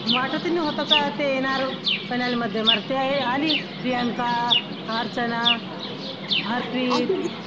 वाटतही नव्हतं का ते येणार finale मध्ये ते आली प्रियांका, अर्चना, हरप्रीत